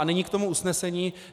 A nyní k tomu usnesení.